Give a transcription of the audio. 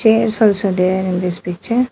Chairs also there in this picture.